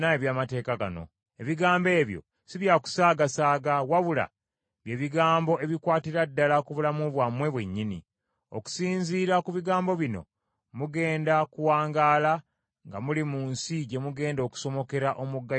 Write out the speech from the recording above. Ebigambo ebyo si bya kusaagasaaga, wabula bye bigambo ebikwatira ddala ku bulamu bwammwe bwennyini. Okusinziira ku bigambo bino, mugenda kuwangaala nga muli mu nsi gye mugenda okusomokera omugga Yoludaani okugifuna.”